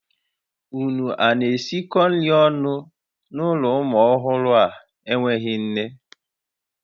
Ụnụ a na-esikọ nri ọnụ n'ụlọ ụmụ ọhụrụ a n'enweghị nne?